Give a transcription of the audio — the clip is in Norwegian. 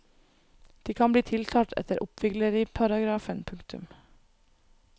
De kan bli tiltalt etter oppvigleriparagrafen. punktum